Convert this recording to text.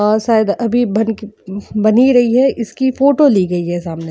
और शायद अभी बनके बन ही रही है इसकी फोटो ली गई है सामने --